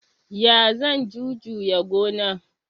Ya zan jujuya gona?